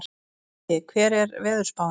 Laugi, hvernig er veðurspáin?